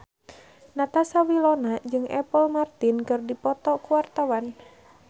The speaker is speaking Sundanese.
Natasha Wilona jeung Apple Martin keur dipoto ku wartawan